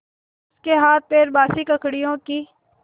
उसके हाथपैर बासी ककड़ियों की